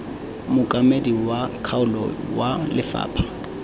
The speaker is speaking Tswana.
mookamedi wa kgaolo wa lefapha